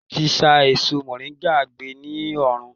Wọn tí sá èso moringa gbé ní oòrùn.